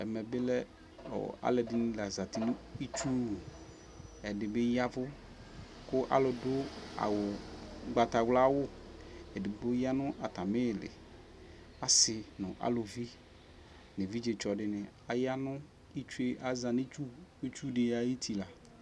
Ɛmɛ bi lɛ alʋɛdini la zati nʋ itsu wu Ɛdi bi yavʋ kʋ alʋ dʋ awu, ʋgbatawla wʋ, edigbo ya nʋ atami ili, asi nʋ alʋvi nʋ evidze tsɔ di ni, aya nʋ, aza nʋ itsu di ayuti la